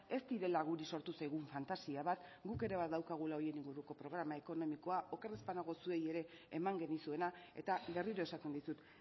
ez direla guri sortu zaigun fantasia bat guk ere badaukagula horien inguruko programa ekonomikoa oker ez banago zuei ere eman genizuena eta berriro esaten dizut